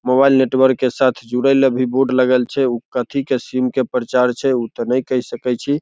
Mobile network के साथ जुड़े ले भी बोर्ड लगल छै उ कथी के सिम के प्रचार छै उ ते ने कह सकय छी।